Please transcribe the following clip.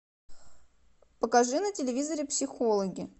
покажи на телевизоре психологи